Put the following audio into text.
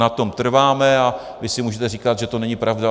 Na tom trváme a vy si můžete říkat, že to není pravda.